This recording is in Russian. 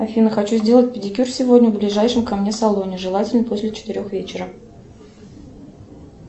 афина хочу сделать педикюр сегодня в ближайшем ко мне салоне желательно после четырех вечера